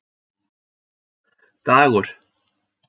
Dagur